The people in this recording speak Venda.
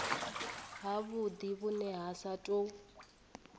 havhudi vhune ha sa tou